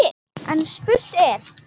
En spurt er: